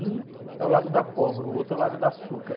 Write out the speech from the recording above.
Um é o lado da pólvora, o outro é o lado da açúcar.